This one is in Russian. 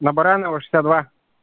на баранова шестьдесят два